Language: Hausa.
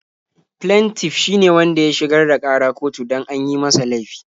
Flentif shi ne wanda ya shigar da ƙara kotu don an yi masa laifi.